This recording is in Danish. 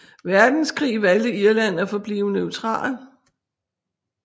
Verdenskrig valgte Irland at forblive neutral